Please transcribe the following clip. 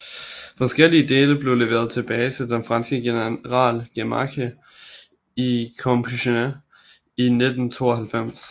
Forskellige dele blev leveret tilbage til den franske general Gamache i Compiègne i 1992